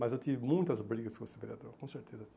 Mas eu tive muitas brigas com esse vereador, com certeza